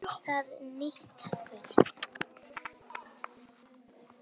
Það er nýtt til fulls.